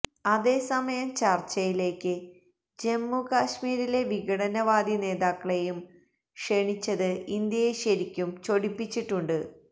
അതേസമയം ചർച്ചയിലേക്ക് ജമ്മു കശ്മീരിലെ വിഘടനവാദി നേതാക്കളെയും ക്ഷണിച്ചത് ഇന്ത്യയെ ശരിക്കും ചൊടിപ്പിച്ചിട്ടുണ്ട്